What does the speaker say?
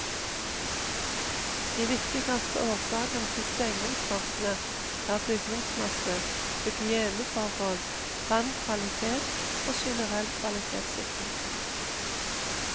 De viktigste årsakene til stengningsvarselet er bygningsmasse, hygieneforhold, vannkvalitet og generell kvalitetssikring.